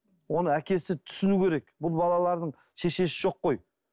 оны әкесі түсіну керек бұл балалардың шешесі жоқ қой